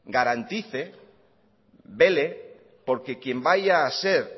garantice vele porque quién vaya a ser